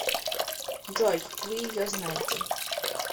джой вы ее знаете